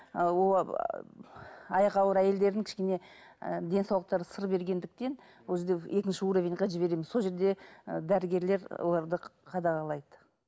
аяғы ауыр әйелдердің кішкене і денсаулықтары сыр бергендіктен ол жерде екінші уровеньге жібереміз сол жерде ы дәрігерлер оларды қадағалайды